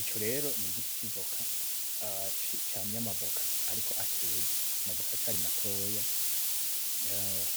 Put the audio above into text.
Ico rero ni igiti civoka aci cane amavoka, ariko ateze amavoka aracari matoya